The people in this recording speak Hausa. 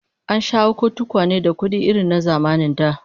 An sha hako tukwane da kudi irin na zamanin da